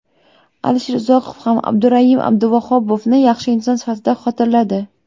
Alisher Uzoqov ham Abdurayim Abduvahobovni yaxshi inson sifatida xotirladi.